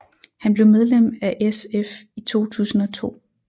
Han blev medlem af SF i 2002